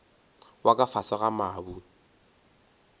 wa ka fase ga mabu